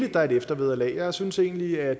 at der er et eftervederlag jeg synes egentlig at